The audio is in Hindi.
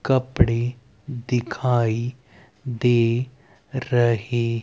कपड़े दिखाई दे रहे--